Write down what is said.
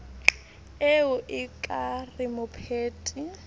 ee o ka re mopheti